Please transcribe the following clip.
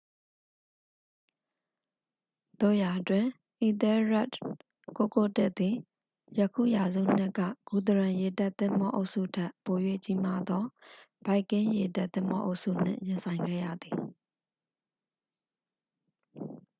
သို့ရာတွင် အီသဲလ်ရက်ဒ်991သည် ယခင်ရာစုနှစ်က ဂူသရန်ရေတပ်သင်္ဘောအုပ်စုထက် ပို၍ကြီးမားသော ဗိုက်ကင်းရေတပ်သင်္ဘောအုပ်စုနှင့် ရင်ဆိုင်ခဲ့ရသည်